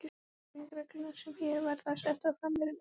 Leiðbeiningarreglurnar, sem hér verða settar fram, eru nánar þessar